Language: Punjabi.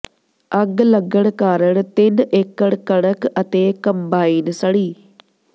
ਅੱਗ ਲੱਗਣ ਕਾਰਨ ਤਿੰਨ ਏਕੜ ਕਣਕ ਅਤੇ ਕੰਬਾਈਨ ਸੜੀ